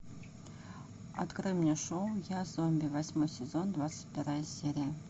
открой мне шоу я зомби восьмой сезон двадцать вторая серия